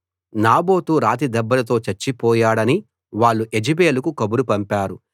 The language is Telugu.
నాబోతు రాతి దెబ్బలతో చచ్చిపోయాడని వాళ్ళు యెజెబెలుకు కబురు పంపారు